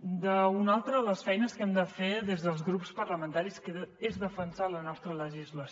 d’una altra de les feines que hem de fer des dels grups parlamentaris que és defensar la nostra legislació